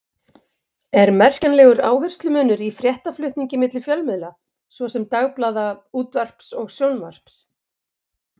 Er merkjanlegur áherslumunur í fréttaflutningi milli fjölmiðla, svo sem dagblaða, útvarps og sjónvarps?